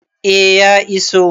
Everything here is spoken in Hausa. A ya iso